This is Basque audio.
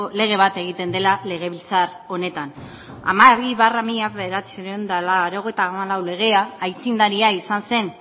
lege bat egiten dela legebiltzar honetan hamabi barra mila bederatziehun eta laurogeita hamalau legea aitzindaria izan zen